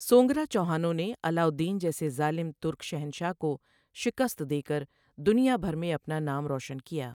سونگرا چوہانوں نے علاء الدین جیسے ظالم ترک شہنشاہ کو شکست دے کر دنیا بھر میں اپنا نام روشن کیا۔